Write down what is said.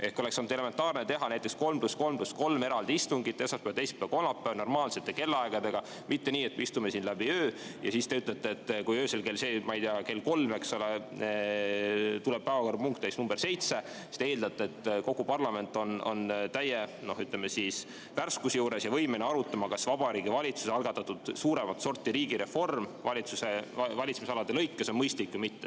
Ehk oleks olnud elementaarne teha näiteks 3 + 3 + 3 eraldi istungit: esmaspäeval, teisipäeval ja kolmapäeval, normaalsete kellaaegadega, mitte nii, et me istume siin öö läbi ja siis, kui näiteks öösel kell 3 tuleb päevakorrapunkt nr 7, te eeldate, et kogu parlament on täie värskuse juures ja võimeline arutama, kas Vabariigi Valitsuse algatatud suuremat sorti riigireform valitsemisalade kaupa on mõistlik või mitte.